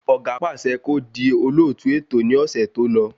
Ọ̀gá pàṣẹ kó di olóòtú ètò ní ọ̀sẹ̀ tó lọ